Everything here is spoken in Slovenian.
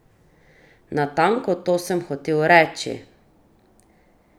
Natanko to sem hotel reči!